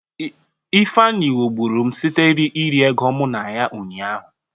Ifeanyi ghọgburu m site iri ego mụ ya ụnyaahụ.